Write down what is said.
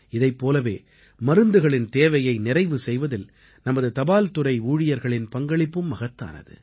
இதைப் போலவே மருந்துகளின் தேவையை நிறைவு செய்வதில் நமது தபால்துறை ஊழியர்களின் பங்களிப்பும் மகத்தானது